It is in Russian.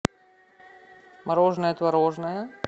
мороженое творожное